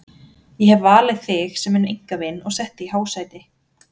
Ég hef valið þig sem minn einkavin og sett þig í hásæti.